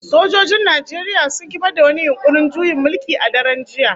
Sojojin Najeriya sun kifar da wani yunkurin juyin mulki a daren jiya